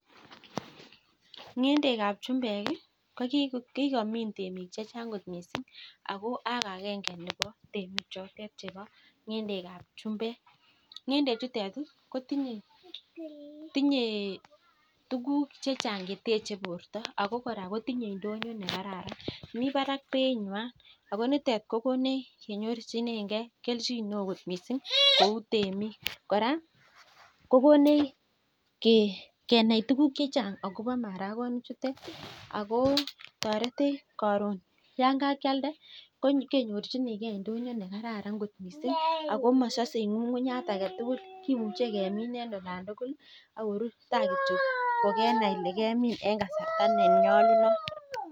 Ng'endekab chumbek ih, ko kokomin temik chechang kot missing. Ako akenge nebo temik choto chebo ng'endekab chumbek. Ng'endek chutet ko tinye tuguk chechang cheteche bort6mi barak beit nyuan Ako nitet ih kokonech kenyorchinege kelchin neoo kot missing kouu temik, kora kokonech kenai tuguk chechang akobo marakonik chutet Ako taretech karon Yoon kakialde kenyorchinege indonyo nekararan kot missing ako masase Ng'ung'ungnyat agetugul komuche kemin en olan tugul akorur ta kityo kemin en kasarta nenyalunot